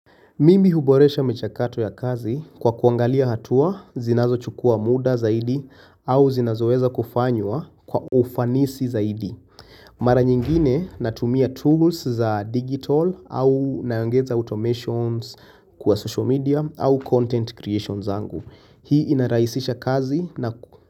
Mimi huboresha michakato ya kazi kwa kuangalia hatua, zinazochukua muda zaidi au zinazoweza kufanywa kwa ufanisi zaidi. Mara nyingine natumia tools za digital au naongeza automations kwa social media au content creation zangu. Hii inarahisisha kazi na ku.